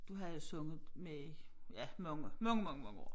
Du havde jo sunget med i mange ja mange mange mange år